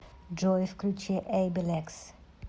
джой включи эйбилекс